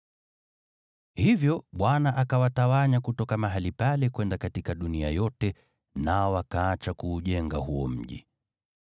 Hivyo Bwana akawatawanya kutoka mahali pale kwenda katika dunia yote, nao wakaacha kuujenga huo mji.